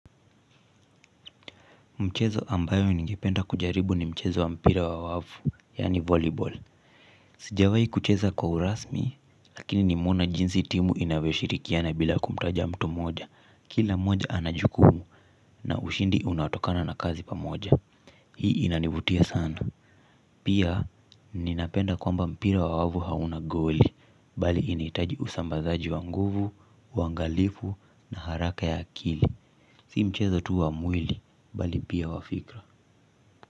Mchezo ambayo ningependa kujaribu ni mchezo wa mpira wa wavu, yani volleyball. Sijawai kucheza kwa urasmi, lakini nimona jinsi timu inavyoshirikiana bila kumtaja mtu mmoja. Kila moja anajukumu na ushindi unatokana na kazi pamoja. Hii inanivutia sana. Pia, ninapenda kwamba mpira wa wavu hauna goli, bali initaji usambazaji wa nguvu, wangalifu na haraka ya akili. Si mchezo tu wa mwili, bali pia wa fikra.